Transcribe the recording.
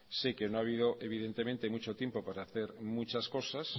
sé que no ha habido mucho tiempo para hacer muchas cosas